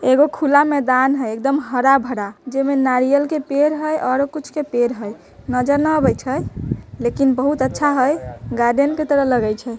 एगो खुला मैदान हई एकदम हरा भरा जे मा नारियल के पेड़ हई आरो कुछ के पेड़ हई नजर ने आवे छै लेकिन बहुत अच्छा हई गार्डेन के तरह लगे छै।